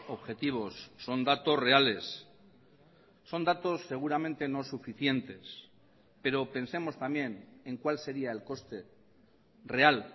objetivos son datos reales son datos seguramente no suficientes pero pensemos también en cuál sería el coste real